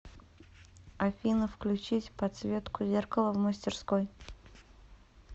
афина включить подсветку зеркала в мастерской